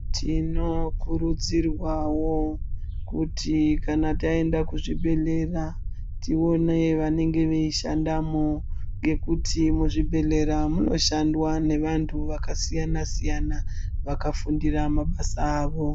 Tinokurudzirwawo kuti kana taenda kuzvibhedhlera tione vanenge veishandamo ngekuti muzvibhedhlera munoshandwa nevantu vakasiyana-siyana vakafundira mabasa awo.